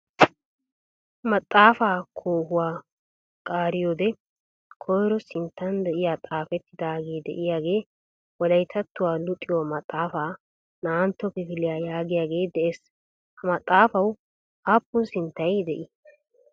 Maxaafaa koohuwaa qaariyoodee koyiro sinttan de"iyaa xaafettidaagee de"iyaagee "wolayttattuwa luxiyo maxxaafaa naa'antto kifiliya" yaagiyaage de'ees. Ha maaxxaafawu aappun sinttay de'ii?